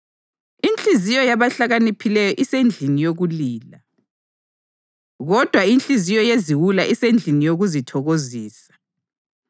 Inhliziyo yabahlakaniphileyo isendlini yokulila, kodwa inhliziyo yeziwula isendlini yokuzithokozisa.